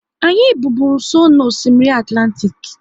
Anyị bi bụ nsọ n'Osimiri Atlantik